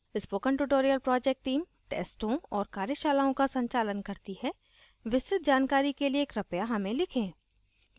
spoken tutorial project team tests और कार्यशालाओं का संचालन करती है विस्तृत जानकारी के लिए कृपया हमें लिखें